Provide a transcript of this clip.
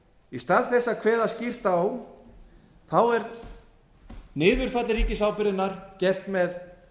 í stað þess að kveða skýrt á er niðurfall ríkisábyrgðarinnar gert með